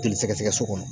Joli sɛgɛsɛgɛ so kɔnɔ